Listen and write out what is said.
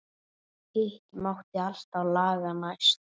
Hitt mátti alltaf laga næst.